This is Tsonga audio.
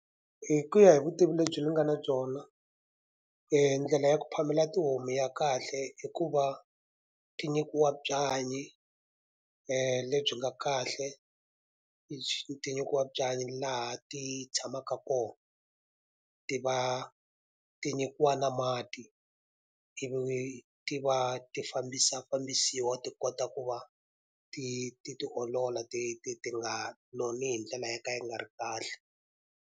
Hi ku ya hi vutivi lebyi ni nga na byona ndlela ya ku phamela tihomu ya kahle i ku va ti nyikiwa byanyi, lebyi nga kahle, ti nyikiwa byanyi laha ti tshamaka kona. Ti va ti nyikiwa na mati, ivi ti va ti fambisa fambisiwa ti kota ku va ti ti ti olola ti ti ti nga noni hi ndlela yo ka yi nga ri kahle.